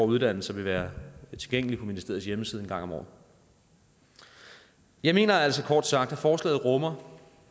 uddannelser vil være tilgængelig på ministeriets hjemmeside en gang om året jeg mener altså kort sagt at forslaget rummer